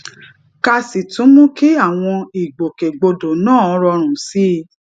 ká sì tún mú kí àwọn ìgbòkègbodò náà rọrùn sí i